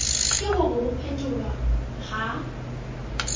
ke hore ho phetholwa ha